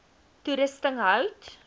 toerusting hout